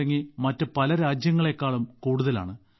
തുടങ്ങി മറ്റ് പല രാജ്യങ്ങളേക്കാളും കൂടുതലാണ്